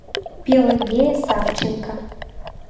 пелагея савченко